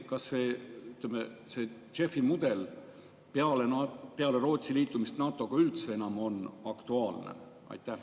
Kas see JEF‑i mudel peale Rootsi liitumist NATO‑ga üldse enam on aktuaalne?